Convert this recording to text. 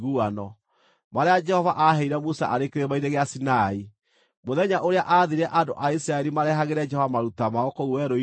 marĩa Jehova aaheire Musa arĩ Kĩrĩma-inĩ gĩa Sinai, mũthenya ũrĩa aathire andũ a Isiraeli marehagĩre Jehova maruta mao kũu Werũ-inĩ wa Sinai.